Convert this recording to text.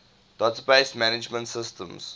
database management systems